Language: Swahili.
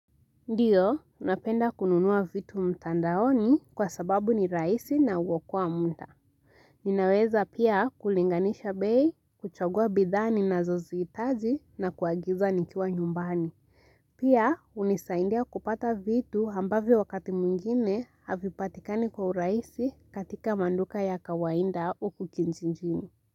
Ndiyo, napenda kununua vitu mtandaoni kwa sababu ni rahisi na huokoa munda. Ninaweza pia kulinganisha bei, kuchagua bidhaa ninazo zihitaji na kuagiza nikiwa nyumbani. Pia, hunisaidia kupata vitu ambavyo wakati mwingine havipatikani kwa urahisi katika maduka ya kawainda huku kijijini.